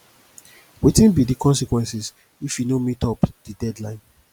wetin be di consequences if you no meet up di deadline